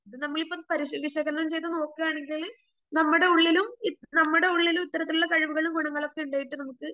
ഇത് നമ്മളിപ്പം പരിശീ വിശകലനം ചെയ്തു നോക്കുകയാണെങ്കിൽ നമ്മടെ ഉള്ളിലും നമ്മടെ ഉള്ളിലും ഇത്തരത്തിലുള്ള കഴിവുകളും ഗുണങ്ങളുമൊക്കെ ഉണ്ടായിട്ട് നമുക്ക്